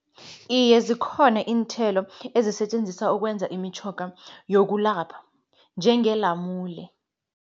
Iye zikhona iinthelo ezisetjenziswa ukwenza imitjhoga yokulapha njengelamule.